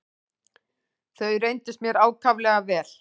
Þau reyndust mér ákaflega vel.